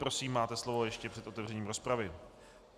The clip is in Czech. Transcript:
Prosím, máte slovo ještě před otevřením rozpravy.